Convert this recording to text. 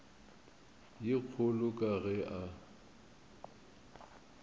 ye kgolo ka ge a